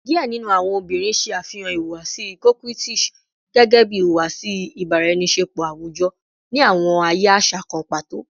Diẹ ninu awọn obinrin ṣe afihan ihuwasi coquettish gẹgẹbi ihuwasi ibaraenisepo awujọ ni awọn aaye aṣa kan pato